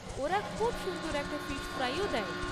ওরা খুব সুন্দর একটা ফিশ ফ্রাইও দেয়।